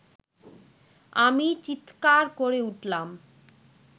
আমি চীৎকার করে উঠলাম